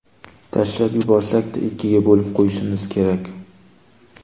Tashlab yuborsak-da, ikkiga bo‘lib qo‘yishimiz kerak.